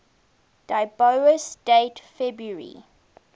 dubious date february